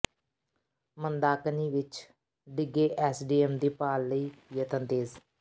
ਮੰਦਾਕਨੀ ਵਿੱਚ ਡਿੱਗੇ ਐਸਡੀਐਮ ਦੀ ਭਾਲ ਲਈ ਯਤਨ ਤੇਜ਼